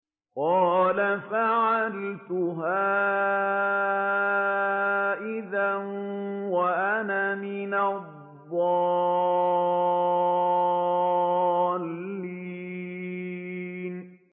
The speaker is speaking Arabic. قَالَ فَعَلْتُهَا إِذًا وَأَنَا مِنَ الضَّالِّينَ